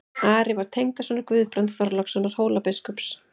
Ari var tengdasonur Guðbrands Þorlákssonar Hólabiskups.